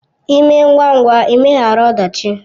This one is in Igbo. Ịme ngwa ngwa ịmeghara ọdachi!